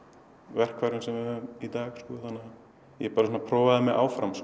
verkfærum sem við höfum í dag ég bara prófaði mig áfram